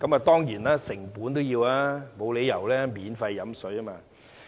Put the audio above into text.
當然，這是要成本的，沒有理由可以免費喝水。